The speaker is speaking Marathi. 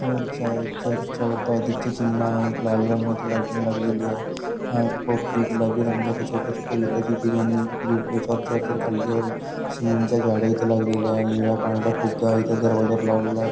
चर्च आहे चर्च च्या वरत अधिकचे चिन्ह आहे लाल रंगाची लायटिंग लागलेली आहे अ पोपटी गुलाबी रंगाची छोट्या छोट्या विटाची डिजाईन याचावर चर्च वर काढलेली आहे सिमेंटचा झाडे इथे लागलेली आहे निळ्या पांढरा फुग्गा इथे दरवाजावर लावलेला आहे.